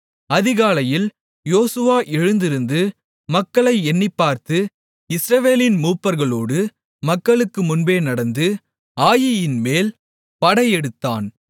அதிகாலையில் யோசுவா எழுந்திருந்து மக்களை எண்ணிப்பார்த்து இஸ்ரவேலின் மூப்பர்களோடு மக்களுக்கு முன்பே நடந்து ஆயீயின் மேல் படையெடுத்தான்